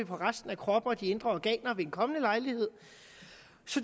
på at resten af kroppen og de indre organer vil en kommende lejlighed